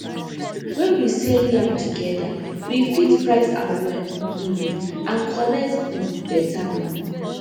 when we sell yam together we fit price am well um and collect um better money